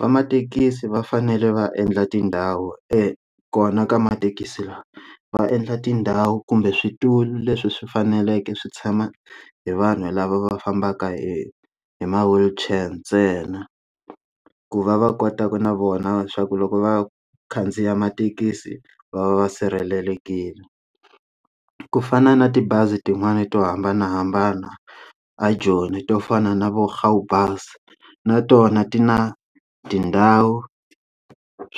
Vamathekisi va fanele va endla tindhawu eka kona ka mathekisi lawa va endla tindhawu kumbe switulu leswi swi faneleke swi tshama hi vanhu lava va fambaka hi hi ma wheelchair ntsena, ku va va kota ku na vona swa ku loko va khandziya mathekisi va va va sirhelelekile ku fana na tibazi tin'wani to hambanahambana a Joni to fana na vo Gaubus na tona ti na tindhawu